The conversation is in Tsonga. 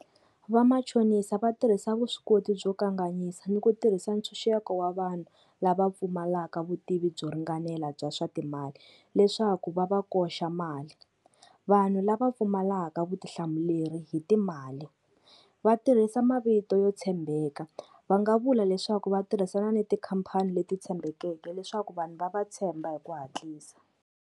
Vamachonisa va tirhisa vuswikoti byo kanganyisa ni ku tirhisa ntshunxeko wa vanhu lava pfumalaka vutivi byo ringanela bya swa timali, leswaku va va koxa mali. Vanhu lava pfumalaka vutihlamuleri hi timali va tirhisa mavito yo tshembeka, va nga vula leswaku va tirhisana na tikhampani leti tshembekeke leswaku vanhu va va tshemba hi ku hatlisa.